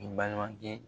I balimakɛ